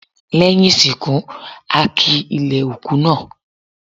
Lẹ́yìn ìsìnkú, a ki ilẹ̀ òkú náà.